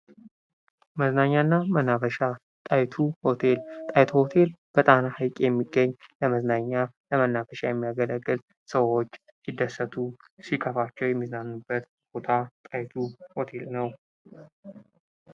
መዝናኛ እና መናፈሻ ፦ ጣይቱ ሆቴል ፦ ጣይቱ ሆቴል በጣና ሐይቅ የሚገኝ ለመዝናኛ ፤ ለመናፈሻ የሚያገለግል ሰዎች ሲደሰቱ ፣ ሲከፋቸው የሚዝናኑበት ቦታ ጣይቱ ሆቴል ነው ።